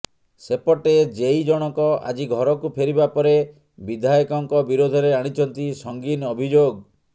ସେପଟେ ଜେଇ ଜଣକ ଆଜି ଘରକୁ ଫେରିବା ପରେ ବିଧାୟକଙ୍କ ବିରୋଧରେ ଆଣିଛନ୍ତି ସଂଗୀନ ଅଭିଯୋଗ